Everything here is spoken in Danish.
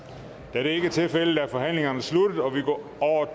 da det ikke er tilfældet er forhandlingen sluttet og vi går